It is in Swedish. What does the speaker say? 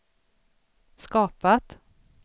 skapat